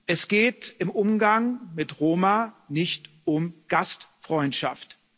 Es geht im Umgang mit Roma nicht um Gastfreundschaft.